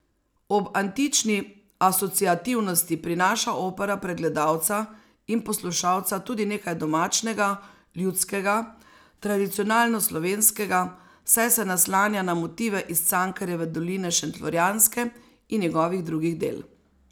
Ob antični asociativnosti prinaša opera pred gledalca in poslušalca tudi nekaj domačnega, ljudskega, tradicionalno slovenskega, saj se naslanja na motive iz Cankarjeve doline šentflorjanske in njegovih drugih del.